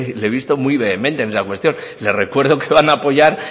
le he visto muy vehemente en esa cuestión le recuerdo que van a apoyar